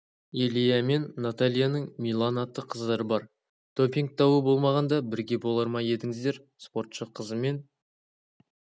илья мен натальяның милана атты қыздары бар допинг дауы болмағанда бірге болар ма едіңіздер спортшы қызымен